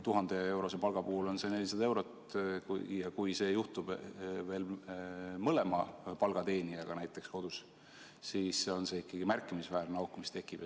1000-eurose palga puhul on see 400 eurot ja kui see juhtub veel näiteks pere mõlema palgateenijaga, siis tekib ikkagi märkimisväärne auk.